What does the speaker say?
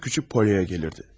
Sıra kiçik Polyaya gəlirdi.